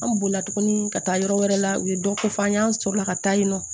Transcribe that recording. An bolila tuguni ka taa yɔrɔ wɛrɛ la u ye dɔ ko fɔ an y'an sɔrɔ ka taa yen nɔ